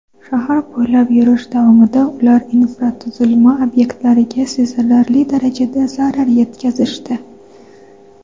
Shahar bo‘ylab yurish davomida ular infratuzilma obyektlariga sezilarli darajada zarar yetkazishdi.